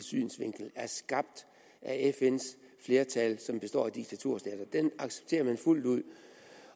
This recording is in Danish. synsvinkel er skabt af fns flertal som består af diktaturstater det accepterer man fuldt ud